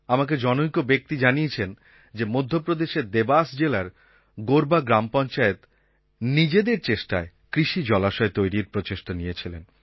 আমাকে জনৈক ব্যক্তি জানিয়েছেন যে মধ্যপ্রদেশের দেবাস জেলার গোরবা গ্রাম পঞ্চায়েত নিজেদের চেষ্টায় কৃষি জলাশয় তৈরির প্রচেষ্টা নিয়েছিলেন